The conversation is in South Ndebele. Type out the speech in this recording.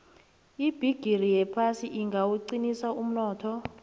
ibhigiri yephasi ingawuqinisa umnotho